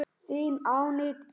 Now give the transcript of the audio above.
Þín Aníta Ýr.